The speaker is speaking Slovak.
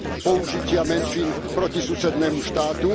použitia menšín proti susednému štátu.